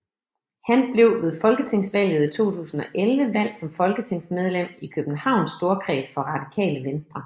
Han blev ved folketingsvalget i 2011 valgt som folketingsmedlem i Københavns Storkreds for Radikale Venstre